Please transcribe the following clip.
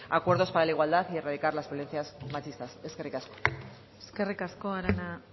acuerdos para la igualdad y erradicar las violencias machistas eskerrik asko eskerrik asko arana